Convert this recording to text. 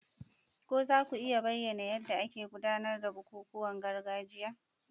Ko za ku iya bayyana yadda ake gudanar da bukukuwan gargajiya?